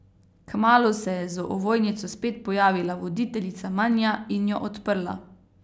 Kmalu se je z ovojnico spet pojavila voditeljica Manja in jo odprla.